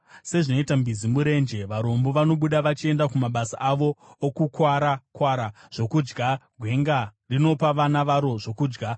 Sezvinoita mbizi murenje, varombo vanobuda vachienda kumabasa avo, okukwara-kwara zvokudya; gwenga rinopa vana varo zvokudya.